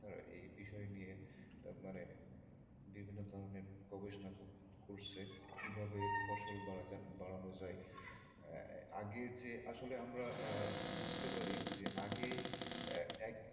তারা এই বিষয় নিয়ে মানে বিভিন্ন ধরনের গবেষণা কর~ করছে কীভাবে ফসল বাড়ানো যায় আহ আগে যে আসলে আমরা বুঝতে পারি যে আগে এক এক